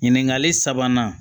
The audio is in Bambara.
Ɲininkali sabanan